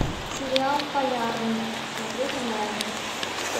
сериал полярный смотреть онлайн